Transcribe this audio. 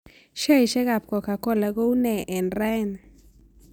Sheaisiekap coca-cola ko unee eng' raini